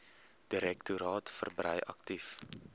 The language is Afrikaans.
direktoraat verbrei aktief